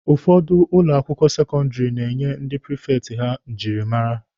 Ụfọdụ ụlọ akwụkwọ sekọndịrị na-enye ndị prifekti akara njirimara.